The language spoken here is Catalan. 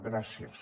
gràcies